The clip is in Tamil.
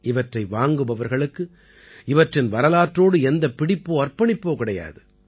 இவற்றை வாங்குபவர்களுக்கு இவற்றின் வரலாற்றோடு எந்தப் பிடிப்போ அர்ப்பணிப்போ கிடையாது